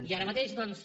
i ara mateix doncs